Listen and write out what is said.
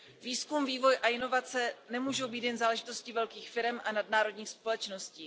Výzkum, vývoj a inovace nemůžou být jen záležitostí velkých firem a nadnárodních společností.